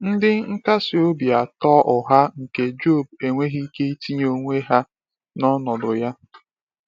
Ndị nkasi obi atọ ụgha nke Job enweghị ike itinye onwe ha n’ọnọdụ ya.